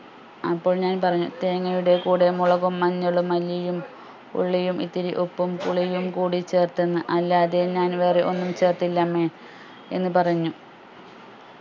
അപ്പോൾ ഞാൻ പറഞ്ഞു തേങ്ങയുടെ കൂടെ മുളകും മഞ്ഞളും മല്ലിയും ഉള്ളിയും ഇത്തിരി ഉപ്പും പുളിയും കൂടി ചേർത്തെന്ന് അല്ലാതെ ഞാൻ വേറെ ഒന്നും ചേർത്തില്ലമ്മെ എന്ന് പറഞ്ഞു